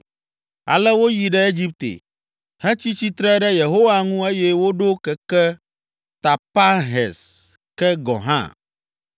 Ale woyi ɖe Egipte, hetsi tsitre ɖe Yehowa ŋu eye woɖo keke Tapanhes ke gɔ hã.